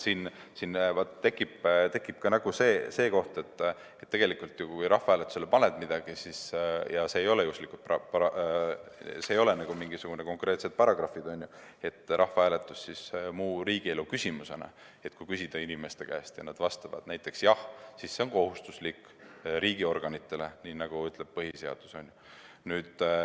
Siin tekib ka see koht, et kui sa midagi rahvahääletusele paned ja need ei ole mingisugused konkreetsed paragrahvid, see on rahvahääletus muu riigielu küsimusena, ning kui küsida inimeste käest ja nad vastavad näiteks jah, siis see on kohustuslik riigiorganitele, nii nagu ütleb põhiseadus.